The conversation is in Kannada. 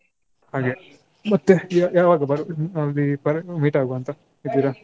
ಹಾಗೆ ಮತ್ತೆ ಯ~ ಯಾವಾಗ ಬರುದು ಅಲ್ಲಿ meet ಆಗುವ ಅಂತ ಇದಿರ.